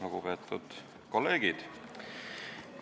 Lugupeetud kolleegid!